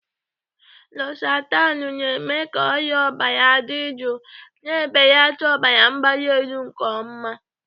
Losatanu na-eme ka arịa ọbara dị jụụ, na-ebelata ọbara mgbali nke ọma.